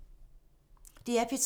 DR P3